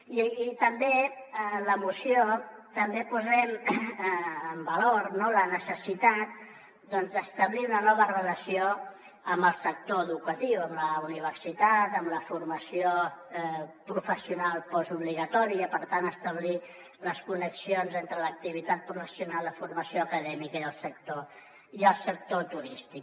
i també en la moció també posem en valor la necessitat d’establir una nova relació amb el sector educatiu amb la universitat amb la formació professional postobligatòria per tant establir les connexions entre l’activitat professional la formació acadèmica i el sector turístic